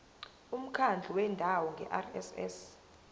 umkhandlu wendawo ngerss